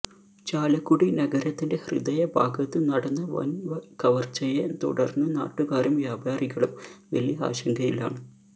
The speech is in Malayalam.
ചാലക്കുടി നഗരത്തിന്റെ ഹൃദയഭാഗത്ത് നടന്ന വന്കവര്ച്ചയെ തുടര്ന്ന് നാട്ടുകാരും വ്യാപാരികളും വലിയ ആശങ്കയിലാണ്